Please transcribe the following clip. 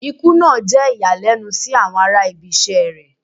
Ikú naa jẹ iyalẹnu si awọn ara ibisẹ́ rẹ